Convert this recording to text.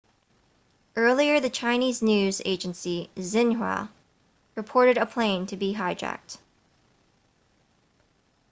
earlier the chinese news agency xinhua reported a plane to be hijacked